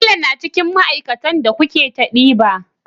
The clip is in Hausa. Bello na cikin ma aikatan da coke ta ɗiba